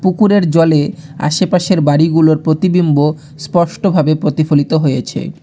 পুকুরের জলে আশেপাশের বাড়িগুলোর প্রতিবিম্ব স্পষ্টভাবে প্রতিফলিত হয়েছে।